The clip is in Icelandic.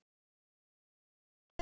Fór Kimbi brott en